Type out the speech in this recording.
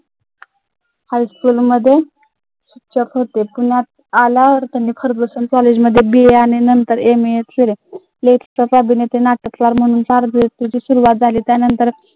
शिक्षक होते Fergusson college मध्ये सुरुवात झाली, त्या नंतर